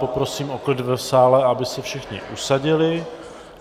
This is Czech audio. Poprosím o klid v sále, aby se všichni usadili.